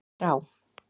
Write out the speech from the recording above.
Þrá